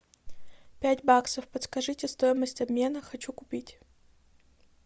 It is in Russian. пять баксов подскажите стоимость обмена хочу купить